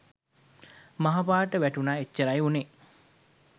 මහ පාරට වැටුණා එච්චරයි වුණේ